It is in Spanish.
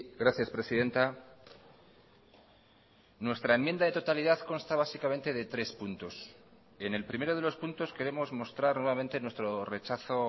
gracias presidenta nuestra enmienda de totalidad consta básicamente de tres puntos en el primero de los puntos queremos mostrar nuevamente nuestro rechazo